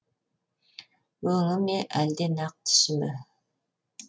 өңі ме әлде нақ түсі ме